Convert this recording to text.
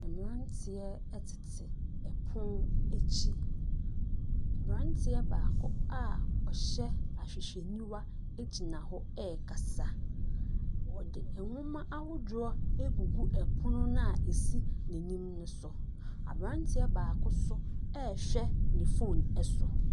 Mmeranteɛ tete pono akyi. Aberanteɛ baako a ɔhyɛ ahwehwɛniwa gyina hɔ rekasa. Wɔde nwoma ahodoɔ agugu pono no a ɛsi n'anim no so. Aberanteɛ baako nso rehwɛ ne phone so.